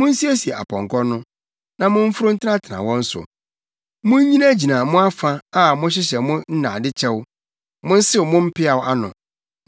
Munsiesie apɔnkɔ no, na momforo ntenatena wɔn so. Munnyinagyina mo afa a mohyehyɛ mo nnade kyɛw! Monsew mo mpeaw ano,